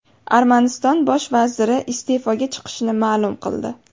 Armaniston bosh vaziri iste’foga chiqishini ma’lum qildi.